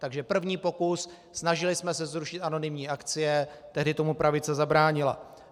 Takže první pokus, snažili jsme se zrušit anonymní akcie, tehdy tomu pravice zabránila.